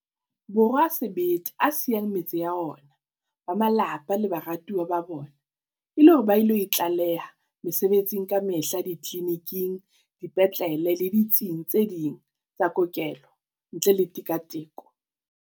Borwa a sebete a siyang metse ya ona, ba malapa le baratuwa ba bona e le hore ba ilo itlaleha mesebetsing kamehla ditleliniking, dipetlele le ditsing tse ding tsa kokelo ntle le tika-tiko.